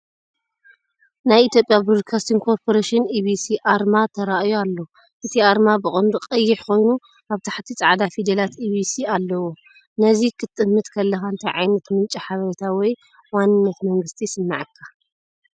ናይ ኢትዮጵያ ብሮድካስቲንግ ኮርፖሬሽን (EBC) ኣርማ ተራእዩ ኣሎ። እቲ ኣርማ ብቐንዱ ቀይሕ ኮይኑ ኣብ ታሕቲ ጻዕዳ ፊደላት "EBC" ኣለዎ። ነዚ ክትጥምት ከለኻ እንታይ ዓይነት ምንጪ ሓበሬታ ወይ ዋንነት መንግስቲ ይስምዓካ?